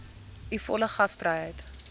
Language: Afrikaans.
u volle gasvryheid